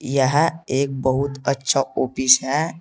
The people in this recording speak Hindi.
यह एक बहुत अच्छा ऑफिस है।